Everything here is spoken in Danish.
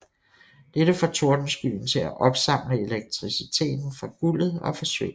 Dette får tordenskyen til at opsamle elektriciteten fra guldet og forsvinde